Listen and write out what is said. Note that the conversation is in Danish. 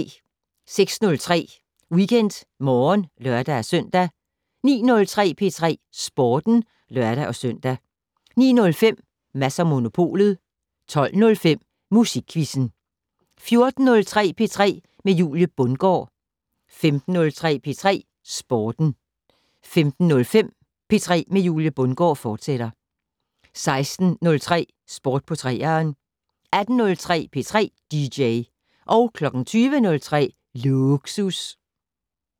06:03: WeekendMorgen (lør-søn) 09:03: P3 Sporten (lør-søn) 09:05: Mads & Monopolet 12:05: Musikquizzen 14:03: P3 med Julie Bundgaard 15:03: P3 Sporten 15:05: P3 med Julie Bundgaard, fortsat 16:03: Sport på 3'eren 18:03: P3 dj 20:03: Lågsus